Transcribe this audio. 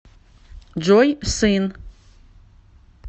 джой сын